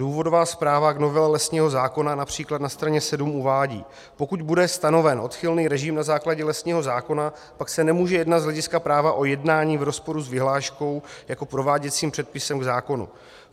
Důvodová zpráva k novele lesního zákona například na straně 7 uvádí: "Pokud bude stanoven odchylný režim na základě lesního zákona, pak se nemůže jednat z hlediska práva o jednání v rozporu s vyhláškou jako prováděcím předpisem k zákonu."